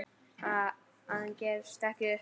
En hann gefst ekki upp.